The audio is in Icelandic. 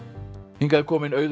hingað er komin Auður